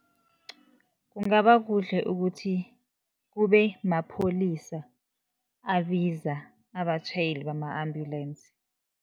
Kungaba kuhle ukuthi kube mapholisa abiza abatjhayeli bama-ambulance.